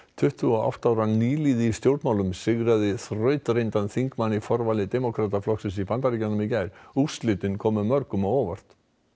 tuttugu og átta ára nýliði í stjórnmálum sigraði þrautreyndan þingmann í forvali demókrataflokksins í Bandaríkjunum í gær úrslitin komu mörgum á óvart